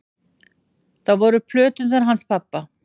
Það voru plöturnar hans pabba.